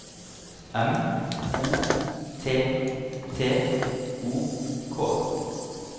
M O T T O K